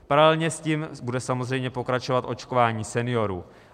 Paralelně s tím bude samozřejmě pokračovat očkování seniorů.